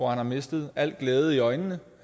har mistet al glæde i øjnene